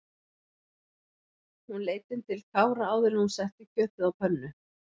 Hún leit inn til Kára áður en hún setti kjötið á pönnu.